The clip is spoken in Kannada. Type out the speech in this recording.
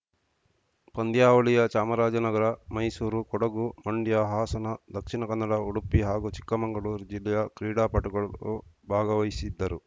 ಪಂದ್ಯಾವಳಿಯ ಚಾಮರಾಜನಗರ ಮೈಸೂರು ಕೊಡಗು ಮಂಡ್ಯ ಹಾಸನ ದಕ್ಷಿಣ ಕನ್ನಡ ಉಡುಪಿ ಹಾಗೂ ಚಿಕ್ಕಮಂಗಳೂರು ಜಿಲ್ಲೆಯ ಕ್ರೀಡಾಪಟುಗಳು ಭಾಗವಹಿಸಿದ್ದರು